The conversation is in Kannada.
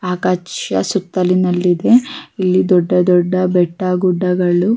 ಆಕಾಚ ಸುತ್ತಲಿನಲ್ಲಿದೆ ಇಲ್ಲಿ ದೊಡ್ಡ ದೊಡ್ಡ ಬೆಟ್ಟ ಗುಡ್ಡಗಳು--